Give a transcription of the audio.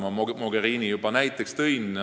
Ma juba tõin näiteks Mogherini.